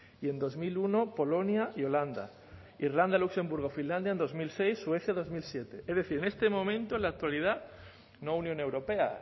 y en dos mil uno polonia y holanda irlanda luxemburgo y finlandia en dos mil seis suecia dos mil siete es decir en este momento en la actualidad no unión europea